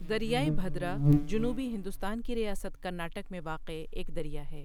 دریائے بھدرا جنوبی ہندوستان کی ریاست کرناٹک میں واقع ایک دریا ہے۔